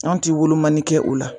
An ti wolpmani kɛ o la